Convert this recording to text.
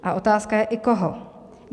A otázka je i koho?